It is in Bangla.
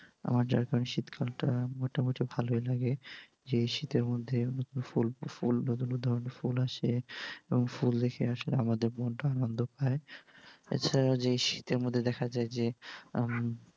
আমার যার কারনে শীতকালটা মোটামুটি ভালোই লাগে। যে এই শীতের মধ্যে ফুল ফুল নুতুন নুতুন ফুল আসে এবং ফুল দেখে আসলে আমাদের মনটাও আনন্দ পায়। আচ্ছা এই শীতের মধ্যেও দেখা যায় যে